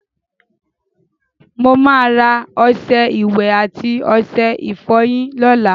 Mo máa ra ọṣẹ ìwẹ̀ àti ọṣẹ ìfọyín lóla